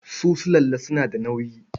Su sulalla suna da nauyi.